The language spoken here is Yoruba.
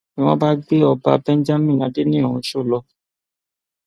ni wọn bá gbé ọba benjamin adeniran ọshọ lọ